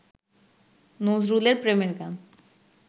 নজরুলের প্রেমের গান